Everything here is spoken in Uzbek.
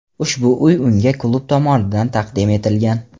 Ushbu uy unga klub tomonidan taqdim etilgan.